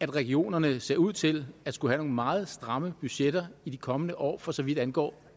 regionerne ser ud til at skulle have nogle meget stramme budgetter i de kommende år for så vidt angår